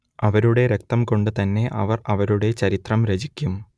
അവരുടെ രക്തം കൊണ്ട് തന്നെ അവർ അവരുടെ ചരിത്രം രചിക്കും